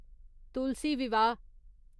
तुलसी विवाह